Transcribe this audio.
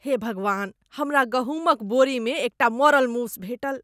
हे भगवान! हमरा गहुमक बोरीमे एकटा मरल मूस भेटल।